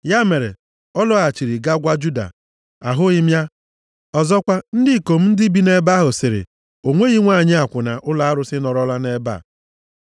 Ya mere, ọ laghachiri gaa gwa Juda, “Ahụghị m ya. Ọzọkwa, ndị ikom ndị bi nʼebe ahụ sịrị, ‘O nweghị nwanyị akwụna + 38:22 Nʼoge ochie, ụmụ nwanyị akwụna bụ ndị na-efe chi ndị ha na-ewe ka chi ọmụmụ. \+xt Jen 38:21\+xt* ụlọ arụsị nọrọla nʼebe a.’ ”